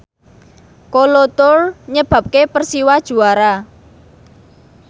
Kolo Toure nyebabke Persiwa juara